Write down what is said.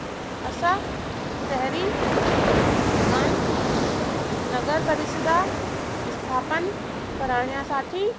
अशा शहरी भागांत नगरपरिषद स्थापण करण्यासाठी